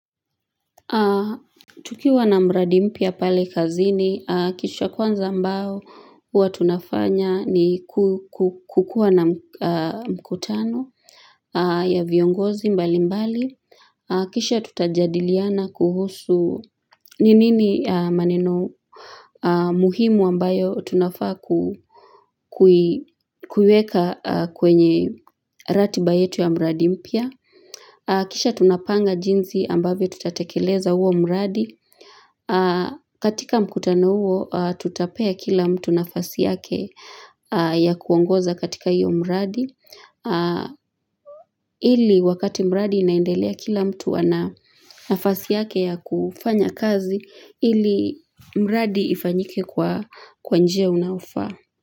Tukiwa na mradi mpya pale kazini, kisha kwanza ambao, huwa tunafanya ni kukuwa na mkutano ya viongozi mbali mbali, kisha tutajadiliana kuhusu ni nini maneno muhimu ambayo tunafaa kuiweka kwenye ratiba yetu ya mradi mpya. Kisha tunapanga jinsi ambavyo tutatekeleza huo mradi. Katika mkutano huo, tutapea kila mtu nafasi yake ya kuongoza katika hiyo mradi. Ili wakati mradi inaendelea kila mtu ana nafasi yake ya kufanya kazi, ili mradi ifanyike kwa njia unaofaa.